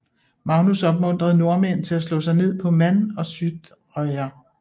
Magnus opmuntrede nordmænd til at slå sig ned på Man og Sudreyar